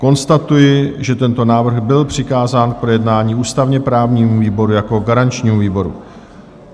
Konstatuji, že tento návrh byl přikázán k projednání ústavně-právnímu výboru jako garančnímu výboru.